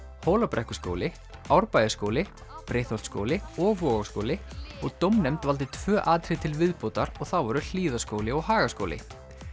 Hólabrekkuskóli Árbæjarskóli Breiðholtsskóli og Vogaskóli og dómnefnd valdi tvö atriði til viðbótar og það voru Hlíðaskóli og Hagaskóli